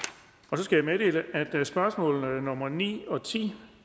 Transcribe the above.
så skal jeg meddele at spørgsmål nummer ni og ti